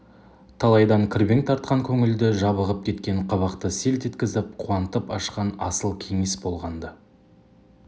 талайдан кірбең тартқан көңілді жабығып кеткен қабақты селт еткізіп қуантып ашқан асыл кеңес болған-ды